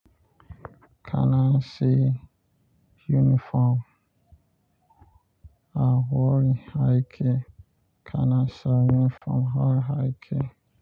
Kana sai uniform a wurin aikin kana sa uniform a wurin aiki.